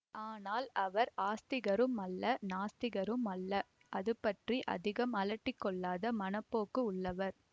ஆனால் அவர் ஆஸ்திகரும் அல்ல நாஸ்திகரும் அல்ல அது பற்றி அதிகம் அலட்டிக்கொள்ளாத மனப்போக்கு உள்ளவர்